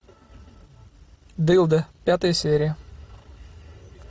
дылды пятая серия